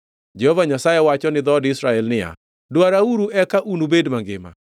Jehova Nyasaye wacho ni dhood Israel niya, “Dwarauru eka unubed mangima,